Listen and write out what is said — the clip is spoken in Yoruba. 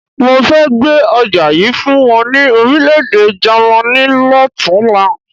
Mo fẹ́ gbé ọjà yìí fún wọn ní Orílẹ̀-èdè Jàmaní lọ́tunla.